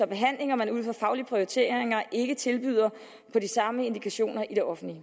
behandlinger man ud fra faglige prioriteringer ikke tilbyder på de samme indikationer i det offentlige